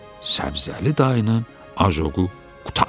Səbzəli dayının ajoqu qurtardı.